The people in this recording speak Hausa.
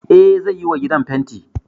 Eh zai yiwa gidan fenti